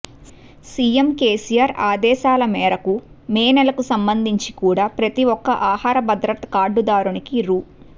CM KCR ఆదేశాల మేరకు May నెలకు సంబంధించి కూడా ప్రతి ఒక్క ఆహార భద్రత కార్డుదారునికి రూ